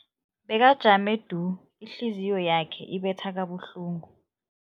Bekajame du, ihliziyo yakhe ibetha kabuhlungu.